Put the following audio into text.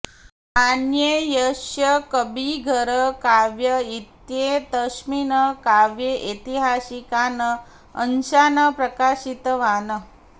आण्डय्यस्य कब्बिगर काव्य इत्येतस्मिन् काव्ये ऐतिहासिकान् अंशान् प्रकाशितवान्